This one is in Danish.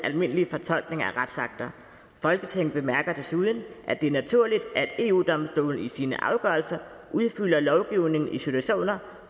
almindelige fortolkninger af retsakter folketinget bemærker desuden at det er naturligt at eu domstolen i sine afgørelser udfylder lovgivningen i situationer